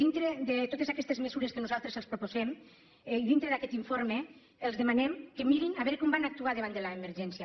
dintre de totes aquestes mesures que nosaltres els proposem i dintre d’aquest informe els demanem que mirin a veure com van actuar davant de l’emergència